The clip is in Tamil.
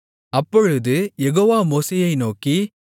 அப்பொழுது யெகோவா மோசேயை நோக்கி